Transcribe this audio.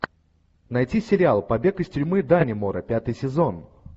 найти сериал побег из тюрьмы даннемора пятый сезон